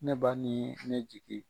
Ne ba niin ne jigi.